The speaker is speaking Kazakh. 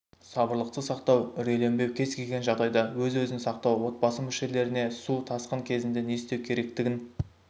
сабырлықты сақтау үрейленбеу кез келген жағдайда өзін-өзі сақтау отбасы мүшелеріне су тасқын кезінде не істеу керектігін